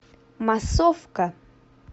массовка